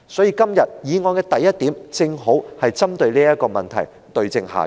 因此，議案的第一項正好針對這問題，對症下藥。